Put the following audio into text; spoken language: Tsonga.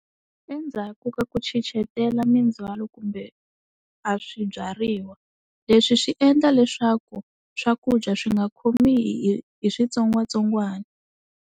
Endzhaku ka ku chichetela mindzhwalo kumbe a swibyariwa leswi swi endla leswaku swakudya swi nga khomi hi, hi switsongwatsongwana.